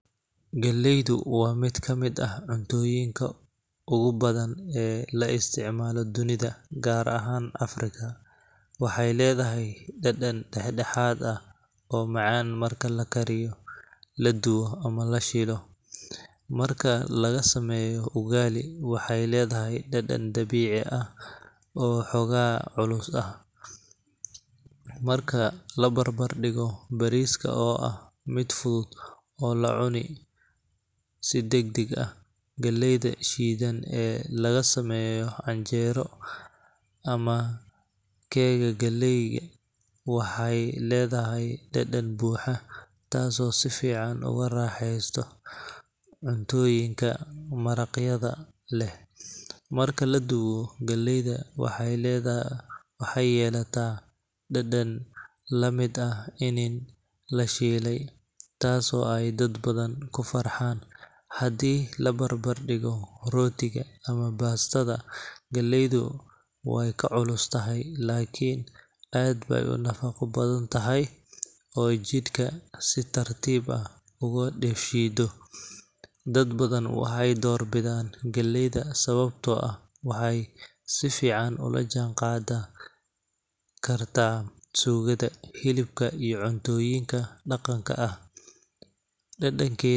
Galeeyda waa mid kamid ah cuntooyinka ugu badan ee la isticmaalo dunida gaar ahaan Africa, waxeey ledahay dadan dexdexaad ah oo macaan marka lakariyo, ladubo ama lashiilo, marka laga sameeyo ugali waxeey ledahay dadan dabiici ah, oo xooga culus, marka labarbar digo bariiska oo ah mid fudud oo lacuni si dagdag ah, galeeyda shidan ee laga sameeyo canjeero ama keeka, waxaa aay ledahay dadan buuxa taas oo sifican oga raxeesto, cuntooyinka maraqyada leh, marka ladubo galeeyda waxeey ledahay, waxeey yeelataa dadan lamid ah ini lashiile, taas oo dad badan kufarxaan, hadii labarbar digo rootiga ama baastada, galeeydu waay ka culus tahay lakin aad baay unafaqo badan tahay oo jidka si tartiib ah uga shiido, dad badan waxeey door bidaan galeeyda Sabato oo ah waxeey si fican oola jaan qaada suugada, hilibka iyo cuntooyinka daqanka ah.